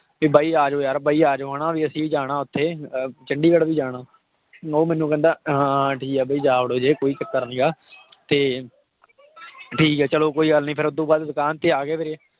ਵੀ ਬਾਈ ਆ ਜਾਓ ਯਾਰ ਬਾਈ ਆ ਜਾਓ ਹਨਾ ਵੀ ਅਸੀਂ ਜਾਣਾ ਉੱਥੇ ਅਹ ਚੰਡੀਗੜ੍ਹ ਵੀ ਜਾਣਾ ਉਹ ਮੈਨੂੰ ਕਹਿੰਦਾ ਹਾਂ ਹਾਂ ਠੀਕ ਹੈ ਬਾਈ ਜਾ ਵੜੋ ਜੇ ਕੋਈ ਚੱਕਰ ਨੀਗਾ ਤੇ ਠੀਕ ਹੈ ਚਲੋ ਕੋਈ ਗੱਲ ਨੀ ਫਿਰ ਉਹ ਤੋਂ ਬਾਅਦ ਦੁਕਾਨ ਤੇ ਆ ਗਏ ਵੀਰੇ